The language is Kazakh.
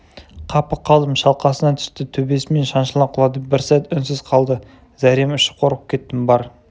қапы қалдым шалқасынан түсті төбесімен шаншыла құлады бір сәт үнсіз қалды зәрем ұшып қорқып кеттім бар